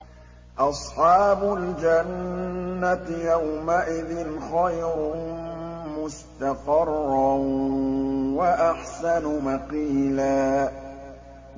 أَصْحَابُ الْجَنَّةِ يَوْمَئِذٍ خَيْرٌ مُّسْتَقَرًّا وَأَحْسَنُ مَقِيلًا